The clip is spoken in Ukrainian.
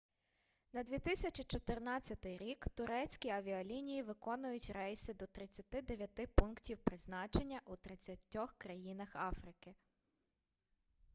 на 2014 рік турецькі авіалінії виконують рейси до 39 пунктів призначення у 30 країнах африки